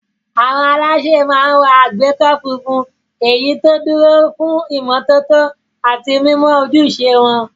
Àwọn alásè máa ń wọ àgbékọ́ funfun, èyí tó dúró fún ìmọ́tótó àti mímọ ojúṣe wọn.